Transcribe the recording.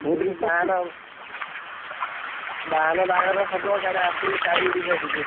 ବାହାନ ଆସିବ ବାହାଘର ହବ କୁଆଡେ ସାଇ ପଡିଶା DJ ଆସିବା।